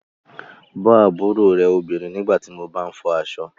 Bọ́ àbúrò rẹ obìnrin nígbà tí mo bá ń fọ aṣọ